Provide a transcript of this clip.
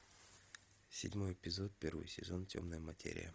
седьмой эпизод первый сезон темная материя